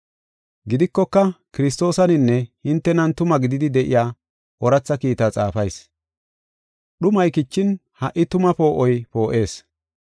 Gidikoka, Kiristoosaninne hintenan tuma gididi de7iya, ooratha kiitaa xaafayis. Dhumay kichin, ha77i tuma poo7oy poo7ees.